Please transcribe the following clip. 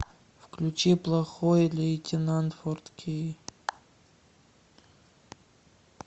включи плохой лейтенант фор кей